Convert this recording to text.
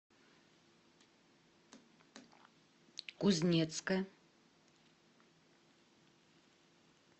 кузнецка